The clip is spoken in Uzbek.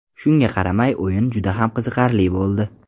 Shunga qaramay o‘yin juda ham qiziqarli bo‘ldi.